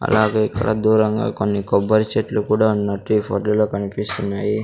అలాగే ఇక్కడ దూరంగా కొన్ని కొబ్బరి చెట్లు కూడా ఉన్నట్టు ఈ ఫొటో లో కన్పిస్తున్నాయి.